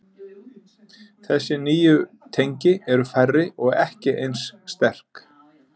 Þessi nýju tengi eru færri og ekki eins sterk.